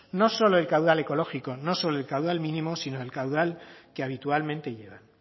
no solo el caudal ecológico no solo el caudal mínimo sino el caudal que habitualmente llevan